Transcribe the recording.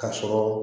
Ka sɔrɔ